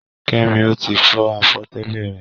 Kẹ́mi ò tí ì fọ àwọ̀tẹ́lẹ̀ rẹ̀.